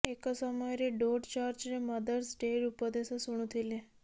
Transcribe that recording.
ଏକ ସମୟରେ ଡୋଡ ଚର୍ଚ୍ଚରେ ମଦର୍ସ ଡ଼େର ଉପଦେଶ ଶୁଣୁଥିଲେ